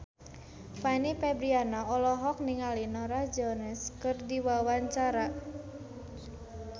Fanny Fabriana olohok ningali Norah Jones keur diwawancara